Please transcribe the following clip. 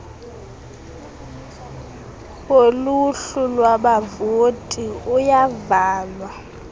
woluhlu lwabavoti uyavalwa